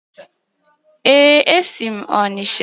Ee, esi m Onicha.